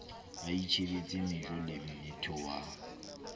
a itjhebetse mejo lemmethe wa